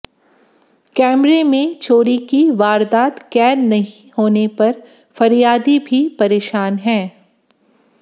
कैमरे में चोरी की वारदात कैद नहीं होने पर फरियादी भी परेशान है